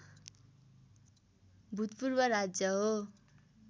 भूतपूर्व राज्य हो